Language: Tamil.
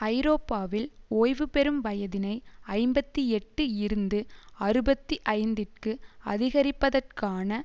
ஐரோப்பாவில் ஓய்வுபெறும் வயதினை ஐம்பத்தி எட்டு இருந்து அறுபத்தி ஐந்துக்கு அதிகரிப்பதற்கான